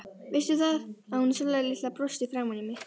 Veistu það, að hún Sóla litla brosti framan í mig.